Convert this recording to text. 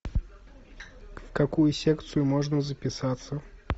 в какую секцию можно записаться